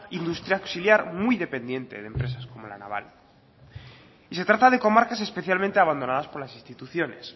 industria auxiliar muy dependiente de empresas como la naval y se trata de comarcas especialmente abandonadas por las instituciones